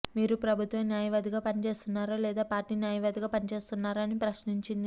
మీరు ప్రభుత్వ న్యాయవాదిగా పనిచేస్తున్నారా లేదా పార్టీ న్యాయవాదిగా పనిచేస్తున్నారా అని ప్రశ్నించింది